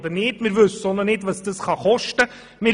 Wir wissen auch noch nicht, was das kosten wird.